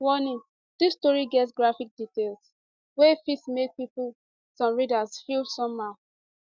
warning dis story get graphic details wey fit make some readers feel somehow